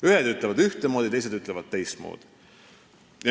Ühed ütlevad ühtemoodi, teised ütlevad teistmoodi.